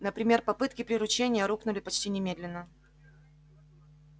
например попытки приручения рухнули почти немедленно